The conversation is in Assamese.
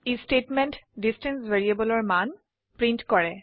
ই স্টেটমেন্টে ডিষ্টেন্স ভ্যাৰিয়েবলৰ মান প্ৰিন্ট কৰে